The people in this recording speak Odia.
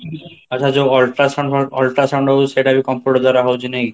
ଆଚ୍ଛା, ଯୋଉ ultrasound ultrasound ହଉଚି ସେଇଟାବି computer ଦ୍ଵାରା ହଉଚି ନାଇକି?